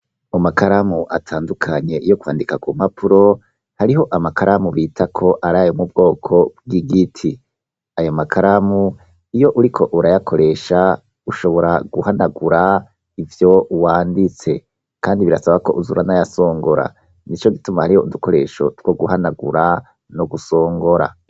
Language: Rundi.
Amakaramu atandukanye, iyo kwandika ku mpapuro, hariho amakaramu bita ko ari ayo mubwoko bw'igiti, ayo makaramu iyo uriko urayakoresha ushobora guhanagura ivyo wanditse, kandi birasaba ko uza uranayasongora, nico gituma hariho udukoresho two guhanagura no gusongora.